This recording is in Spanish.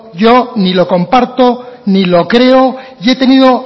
yo ni lo comparto ni lo creo y he tenido